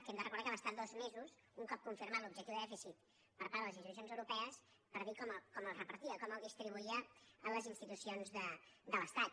que hem de recordar que va estar dos mesos un cop confirmat l’objectiu de dèficit per part de les institucions europees per dir com el repartia com el distribuïa en les institucions de l’estat